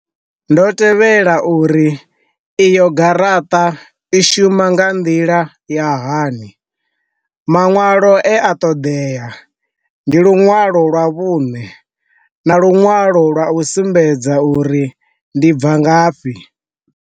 Ndo tevhela uri iyo garaṱa i shuma nga nḓila ya hani, maṅwalo e a ṱoḓea ndi lunwalo lwa vhune, na lunwalo lwa u sumbedza uri ndi bva ngafhi.